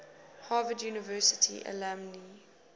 harvard university alumni